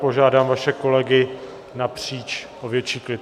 Požádám vaše kolegy napříč o větší klid.